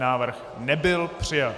Návrh nebyl přijat.